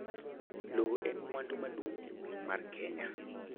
Lowo en mwandu maduong' ahinya e piny Kenya